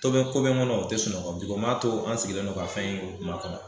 To bɛ ko bɛ n kɔnɔ o tɛ sunɔgɔ bi ko m'a to an sigilen don ka fɛn in ma kɔnɔ